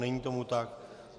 Není tomu tak.